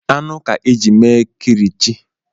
Anụ ka e jiri mee kilichi